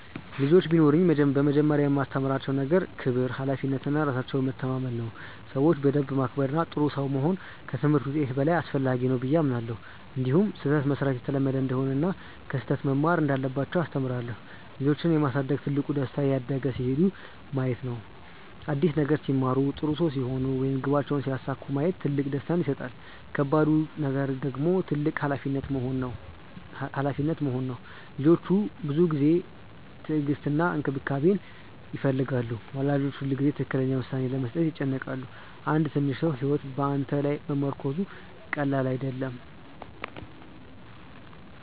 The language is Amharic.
ልጆች ቢኖሩኝ በመጀመሪያ የማስተምራቸው ነገር ክብር፣ ሀላፊነት እና ራሳቸውን መታመን ነው። ሰዎችን በደንብ ማክበር እና ጥሩ ሰው መሆን ከትምህርት ውጤት በላይ አስፈላጊ ነው ብዬ አምናለሁ። እንዲሁም ስህተት መሥራት የተለመደ እንደሆነ እና ከስህተት መማር እንዳለባቸው አስተምራቸዋለሁ። ልጆችን የማሳደግ ትልቁ ደስታ እያደጉ ሲሄዱ ማየት ነው። አዲስ ነገር ሲማሩ፣ ጥሩ ሰው ሲሆኑ ወይም ግባቸውን ሲያሳኩ ማየት ትልቅ ደስታ ይሰጣል። ከባዱ ነገር ደግሞ ትልቅ ሀላፊነት መሆኑ ነው። ልጆች ብዙ ጊዜ፣ ትዕግስት እና እንክብካቤ ይፈልጋሉ። ወላጆች ሁልጊዜ ትክክለኛ ውሳኔ ለመስጠት ይጨነቃሉ። አንድ ትንሽ ሰው ሕይወት በአንተ ላይ መመርኮዙ ቀላል አይደለም።